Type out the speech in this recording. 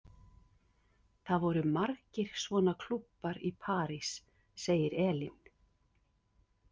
Það voru margir svona klúbbar í París, segir Elín.